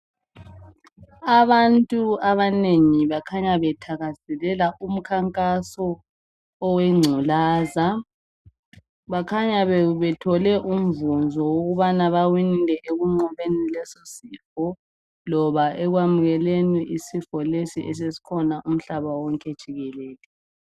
Abantu abanengi bakhanya bethakazelela umkhankaso owengculaza. Bakhanya be bethole umvunzo wokubana bawinile ekunqobeni lesosifo loba ekwamukeleni isifo lesi esesikhona umhlaba wonke jikelele.